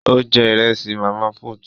Ó jẹ Ìrẹ́sì màmá put